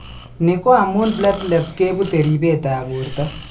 Ni ko amun platelets kebuute ripetab borto.